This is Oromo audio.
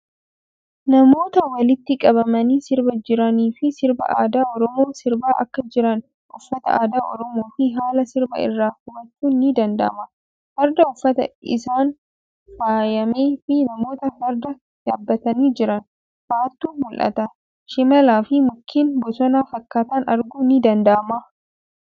Namoota walitti qabamanii sirbaa jiraniifii sirba aadaa Oromoo sirbaa akka jiran uffata aadaa Oromoo fii haala sirbaa irraa hubachuun ni danda'ama. Farda uffata isaan faayamee fii namoota farda yaabbatanii jiran fa'atu mul'ata. Shimala fii mukkeen bosona fakkaatan arguun ni danda'ama.